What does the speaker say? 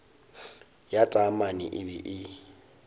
ya taamane e be e